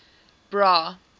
bra